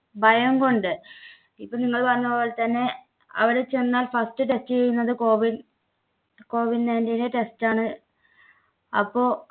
ഭയം കൊണ്ട് ഇപ്പോ നിങ്ങൾ പറഞ്ഞ പോലെ തന്നെ അവിടെ ചെന്നാൽ first test ചെയ്യുന്നത് COVID COVID nineteen ന്‍ടെ test ആണ് അപ്പോ